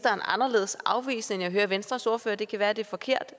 anderledes afvisende end jeg hører venstres ordfører det kan være det er forkert